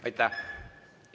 Aitäh!